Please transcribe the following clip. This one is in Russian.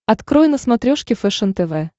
открой на смотрешке фэшен тв